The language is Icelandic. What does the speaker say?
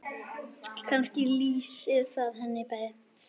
Kannski lýsir það henni best.